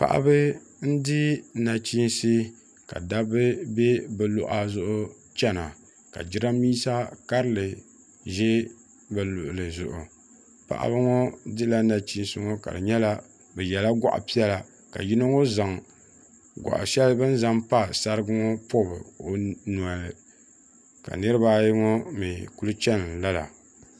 paɣaba n-di naɣichiinsi ka dabba be bɛ luɣa zuɣu chana la jiraaminsa karili ʒi bɛ luɣili zuɣu paɣaba ŋɔ dila naɣichiinsi ŋɔ ka di nyɛla bɛ yela gɔɣ' piɛla ka yino ŋɔ zaŋ gɔɣ' shɛli bɛ zaŋ pa sarigi ŋɔ pɔbi o noli ka niriba ayi ŋɔ mi kuli chani lala.